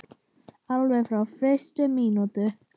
Alveg frá fyrstu mínútu.